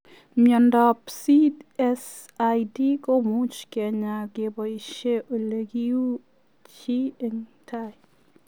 Miondoop CSID komuuch kenyaa kebaisiee olekiuu chii eng tai,